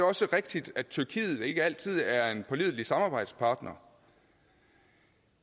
også rigtigt at tyrkiet ikke altid er en pålidelig samarbejdspartner